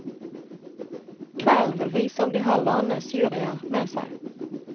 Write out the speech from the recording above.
Kvelden vil vise om de har landenes juryer med seg.